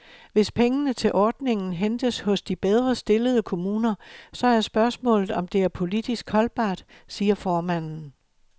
Hvis pengene til ordningen hentes hos de bedre stillede kommuner, så er spørgsmålet, om det er politisk holdbart, siger formanden.